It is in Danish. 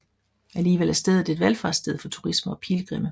Alligevel er stedet et valfartssted for turister og pilgrimme